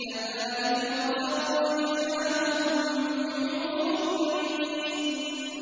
كَذَٰلِكَ وَزَوَّجْنَاهُم بِحُورٍ عِينٍ